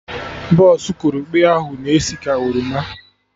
Bọsụ korokpe ahụ na esi ka oroma